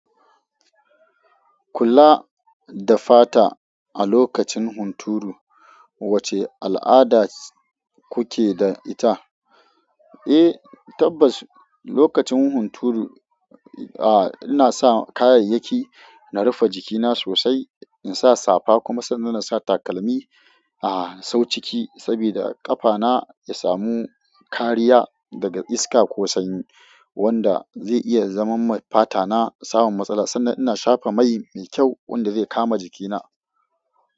Kula da fata a lokacin hunturu, wace al'ada kuke da ita? Eh, tabbas. Lokacin hunturu, a'a ina sa kayayyaki na rufe jikina sosai, in sa safa kuma sannan na sa takalmi. A'a, sau ciki saboda ƙafana ya samu kariya daga iska ko sanyi wanda zai iya zaman ma fata na samun matsala sannan ina shafa mai mai kyau wanda zai kama jikina.